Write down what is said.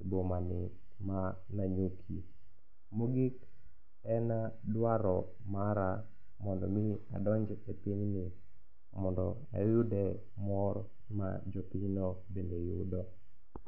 e bomani ma Nanyuki. Mogik en dwaro mara mondo omi adonj e pinyni mondo ayude mor ma jopinyno bende yudo.